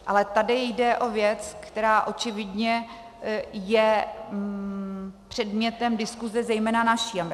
Ale tady jde o věc, která očividně je předmětem diskuse zejména naší.